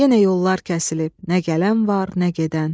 Yenə yollar kəsilib, nə gələn var, nə gedən.